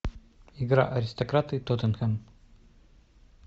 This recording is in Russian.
игра аристократы и тоттенхэм